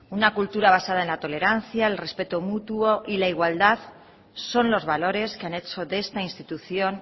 una cultura basada en la tolerancia el respeto mutuo y la igualdad son los valores que han hecho de esta institución